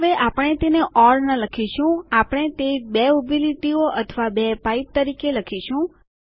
હવે આપણે તેને ઓર ન લખીશું આપણે તે બે ઉભી લીટીઓ અથવા બે પાઇપ તરીકે લખીશું